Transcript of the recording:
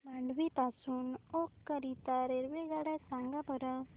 मांडवी पासून ओखा करीता रेल्वेगाड्या सांगा बरं